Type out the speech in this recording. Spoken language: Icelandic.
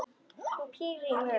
Hún pírir á mig augun.